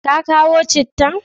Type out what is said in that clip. Ka kawo cittan?